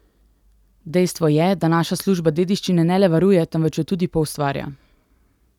Dejstvo je, da naša služba dediščine ne le varuje temveč jo tudi poustvarja.